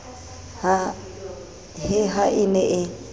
he ha e ne e